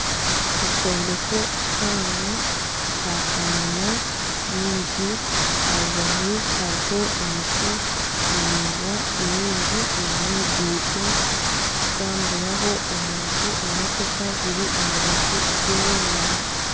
Ekyombeko kihango Kya kanyina nyingi aha rubaju hariho emiti miraingwa mingi n'oruguuto kutambururaho omuntu emotoka ziri aha rubaju zemereire.